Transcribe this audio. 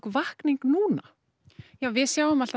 vakning núna við sjáum alltaf